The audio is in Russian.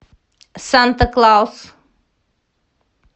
санта клаус